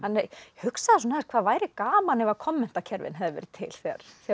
hugsaði aðeins hvað væri gaman ef hefðu verið til þegar